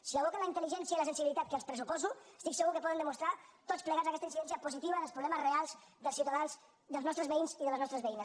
si evoca la intel·ligència i la sensibilitat que els pressuposo estic segur que poden demostrar tots plegats aquesta incidència positiva dels problemes reals dels ciutadans dels nostres veïns i de les nostres veïnes